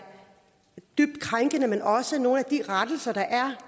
dybt krænkende men også nogle af de rettelser der er